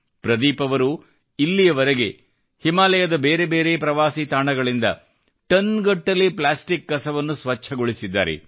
ಪ್ರದೀಪ್ ಅವರು ಇಲ್ಲಿವರೆಗೆ ಹಿಮಾಲಯದ ಬೇರೆ ಬೇರೆ ಪ್ರವಾಸಿ ತಾಣಗಳಿಂದ ಟನ್ ಗಟ್ಟಲೇ ಪ್ಲಾಸ್ಟಿಕ್ ಕಸವನ್ನು ಸ್ವಚ್ಛಗೊಳಿಸಿದ್ದಾರೆ